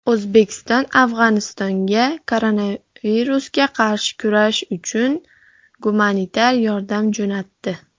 O‘zbekiston Afg‘onistonga koronavirusga qarshi kurash uchun gumanitar yordam jo‘natdi.